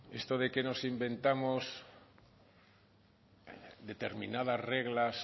esto de que nos inventamos determinadas reglas